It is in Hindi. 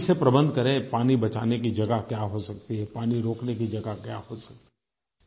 अभी से प्रबंध करें पानी बचाने की जगह क्या हो सकती है पानी रोकने की जगह क्या हो सकती है